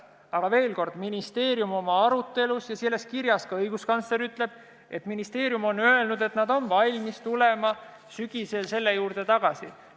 Aga veel kord, ministeerium oma arutelus on öelnud ja selles kirjas ütleb ka õiguskantsler, et ministeerium on öelnud, et nad on valmis tulema sügisel selle teema juurde tagasi.